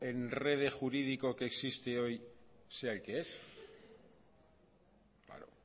enredo jurídico que existe hoy sea el que es claro